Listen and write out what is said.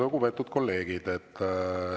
Lugupeetud kolleegid!